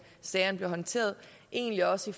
sagerne bliver håndteret og egentlig også